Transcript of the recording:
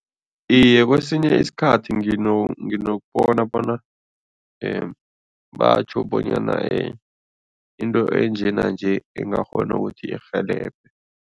Iye, kwesinye isikhathi nginokubona bona batjho bonyana into enje nanje ingakghona ukuthi irhelebhe.